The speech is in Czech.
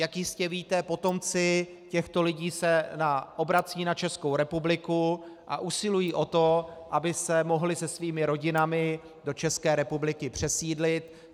Jak jistě víte, potomci těchto lidí se obracejí na Českou republiku a usilují o to, aby se mohli se svými rodinami do České republiky přesídlit.